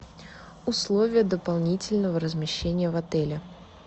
условия дополнительного размещения в отеле